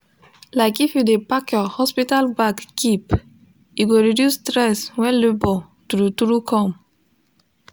like if u de pack your hospital bag keep e go reduce stress when labor true true come